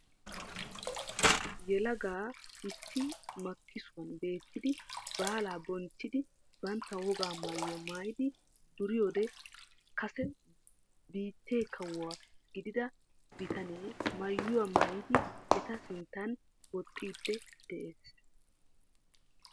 Yelagaa issi makissuwaan beettidi baalaa bonchchiidi bantta wogaa mayuwaa maayidi duriyoode kase biittee kawo gidida bitanee maayuwaa maayidi eta sinttaan wooxxidi de'ees.